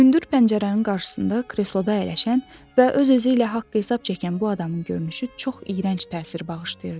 Hündür pəncərənin qarşısında kresloda əyləşən və öz-özü ilə haqq-hesab çəkən bu adamın görünüşü çox iyrənc təsir bağışlayırdı.